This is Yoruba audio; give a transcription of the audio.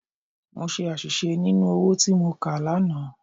Mo ṣe àṣìṣe nínú owó tí mo kà lánàá.